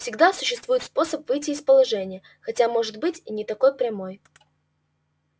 всегда существует способ выйти из положения хотя может быть и не такой прямой